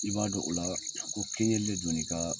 I b'a dɔn o la ko de donna i ka